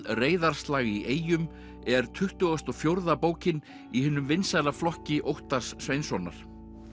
reiðarslag í eyjum er tuttugasta og fjórða bókin í hinum vinsæla flokki Óttars Sveinssonar